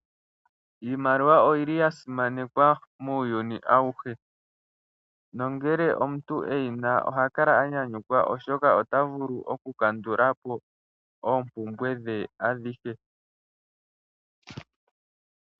Iimaliwa oyili ya simananekwa muuyuni awuhe. Nongele omuntu eyina, ohakala a nyanyukwa oshoka otavulu okukandulapo oompumbwe dhe.